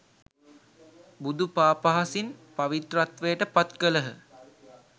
බුදු පා පහසින් පවිත්‍රත්වයට පත් කළහ